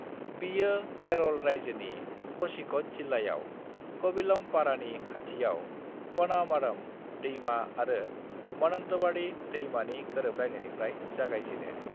बियो केरल रायजोनि क'झीकड जिलायाव कविलम्पारानि खाथियाव पनामारम दैमा आरो मनंतवाडी दैमानि गोरोबलायनायनिफ्राय जागायजेनो।